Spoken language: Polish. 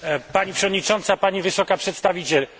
Pani Przewodnicząca, Pani Wysoka Przedstawiciel!